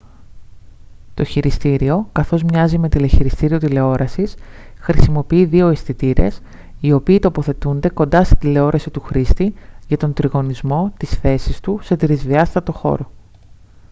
το χειριστήριο καθώς μοιάζει με τηλεχειριστήριο τηλεόρασης χρησιμοποιεί δύο αισθητήρες οι οποίοι τοποθετούνται κοντά στην τηλεόραση του χρήστη για τον τριγωνισμό της θέσης του σε τρισδιάστατο χώρο